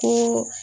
Ko